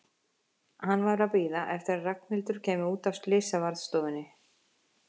Hann var að bíða eftir að Ragnhildur kæmi út af slysavarðstofunni.